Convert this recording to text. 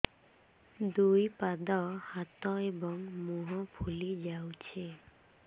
ଦୁଇ ପାଦ ହାତ ଏବଂ ମୁହଁ ଫୁଲି ଯାଉଛି